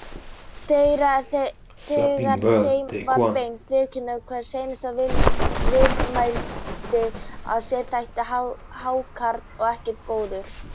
Þegar þeim var beitt viðurkenndi hver einasti viðmælandi að sér þætti hákarl ekkert góður.